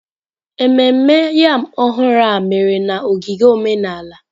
Ememme yam ọhụrụ a mere na ogige omenala.